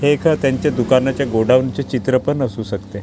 हे एका त्यांच्या दुकानाचे गोडाऊन चे चित्र पण असू शकते.